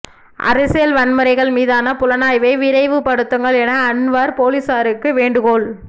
அரசியல் வன்முறைகள் மீதான புலனாய்வை விரைவுபடுத்துங்கள் என அன்வார் போலீசாருக்கு வேண்டுகோள்